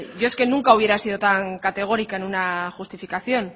yo es que nunca hubiera sido tan categórica en una justificación